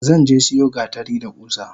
Zanje siyo gatari da kusa.